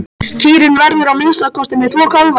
Kýrin verður að minnsta kosti með tvo kálfa.